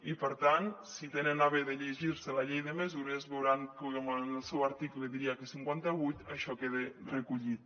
i per tant si tenen a bé llegir se la llei de mesures veuran com en el seu article diria que cinquanta vuit això queda recollit